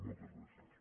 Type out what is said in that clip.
moltes gràcies